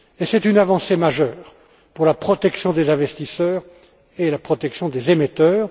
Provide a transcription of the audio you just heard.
C'est une avancée majeure pour la protection des investisseurs et la protection des émetteurs.